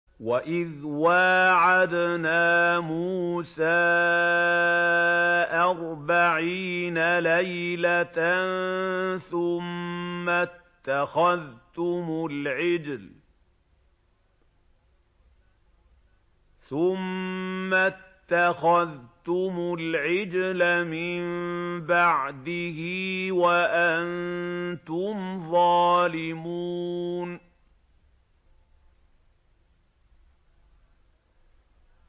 وَإِذْ وَاعَدْنَا مُوسَىٰ أَرْبَعِينَ لَيْلَةً ثُمَّ اتَّخَذْتُمُ الْعِجْلَ مِن بَعْدِهِ وَأَنتُمْ ظَالِمُونَ